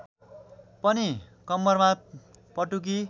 पनि कम्मरमा पटुकी